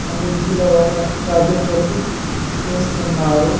ఆ బెంచ్ లో వాళ్ళ ప్రాజెక్ట్ వర్క్ చేస్తున్నారు .